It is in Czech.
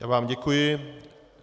Já vám děkuji.